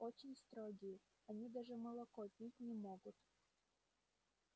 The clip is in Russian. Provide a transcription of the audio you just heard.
очень строгие они даже молоко пить не могут